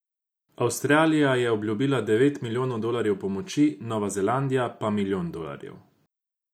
Avstralija je obljubila deveti milijonov dolarjev pomoči, Nova Zelandija pa milijon dolarjev.